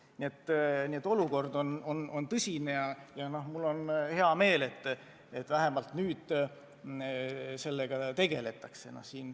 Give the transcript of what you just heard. Nii et olukord on tõsine ja mul on hea meel, et vähemalt nüüd sellega tegeldakse.